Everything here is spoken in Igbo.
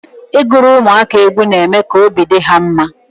Ị gụrụ ụmụaka egwu na eme ka obi dị ha mma.